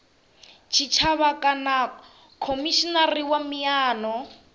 tshitshavha kana khomishinari wa miano